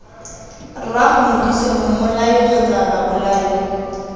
rraago modise mmolai kgotsa babolai